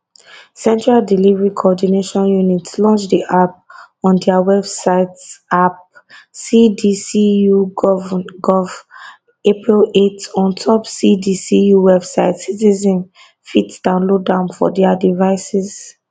central delivery coordination unit launch di app on dia websiteappcdcugovngon april 8 ontop cdcu website citizens fit download am for dia devices